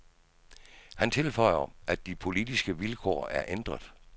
Han tilføjer, at de politiske vilkår er ændret.